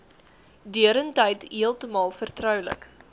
deurentyd heeltemal vertroulik